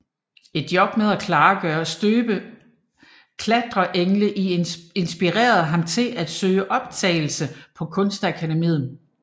Et job med at klargøre støbte klatreengle inspirerede ham til at søge optagelse på Kunstakademiet